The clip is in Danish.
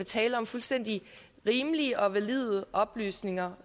tale om fuldstændig rimelige og valide oplysninger